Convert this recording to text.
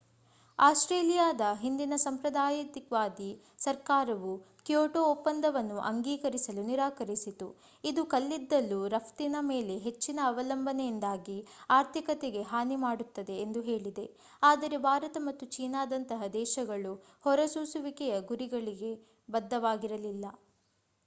ಆಸ್ಟ್ರೇಲಿಯಾದ ಹಿಂದಿನ ಸಂಪ್ರದಾಯವಾದಿ ಸರ್ಕಾರವು ಕ್ಯೋಟೋ ಒಪ್ಪಂದವನ್ನು ಅಂಗೀಕರಿಸಲು ನಿರಾಕರಿಸಿತು ಇದು ಕಲ್ಲಿದ್ದಲು ರಫ್ತಿನ ಮೇಲೆ ಹೆಚ್ಚಿನ ಅವಲಂಬನೆಯಿಂದಾಗಿ ಆರ್ಥಿಕತೆಗೆ ಹಾನಿ ಮಾಡುತ್ತದೆ ಎಂದು ಹೇಳಿದೆ ಆದರೆ ಭಾರತ ಮತ್ತು ಚೀನಾದಂತಹ ದೇಶಗಳು ಹೊರಸೂಸುವಿಕೆಯ ಗುರಿಗಳಿಗೆ ಬದ್ಧವಾಗಿರಲಿಲ್ಲ